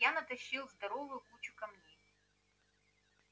я натащил здоровую кучу камней